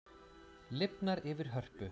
Lifnar yfir Hörpu